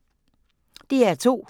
DR2